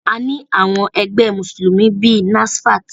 A ní àwọn ẹgbẹ́ Mùsùlùmí bíi NASFAT.